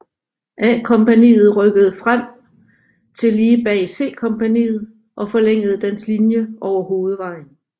A kompagniet rykkede frem til lige bag C kompaniet og forlængede dens linje over hovedvejen